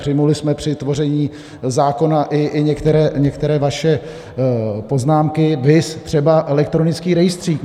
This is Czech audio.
Přijali jsme při tvoření zákona i některé vaše poznámky, viz třeba elektronický rejstřík.